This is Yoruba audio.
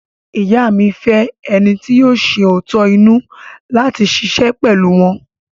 Ìyá mi fẹ́ ẹni ti yóò ṣẹ òótọ́ inú láti ṣiṣẹ́ pẹ̀lú wọ́n.